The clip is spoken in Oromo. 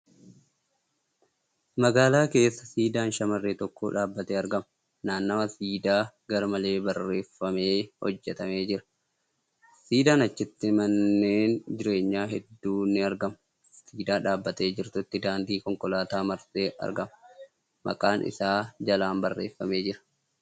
Magaalaa keessa siidaan shamarree takkaa dhaabbatee argama. Naannawaan siidaa garmalee bareeffamee hojjatamee jira. Siidaan achitti manneen jireenyaa hedduu ni argamu. Siidaa dhaabbattee jirtutti daandiin konkolaataa marsee argama. Maqaan isaa jalaan barreeffamee jira.